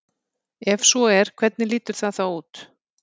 Ef svo er hvernig lítur það þá út?